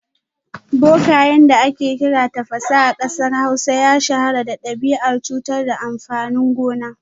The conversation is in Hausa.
Bokayen da ake kira Tafasa a kasar Hausa ya shahara da dabi’ar cutar da amfanin gona